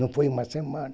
Não foi uma semana.